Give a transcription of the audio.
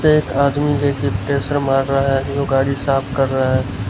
एक आदमी देखिए प्रेशर मार रहा है जो गाड़ी साफ कर रहा है।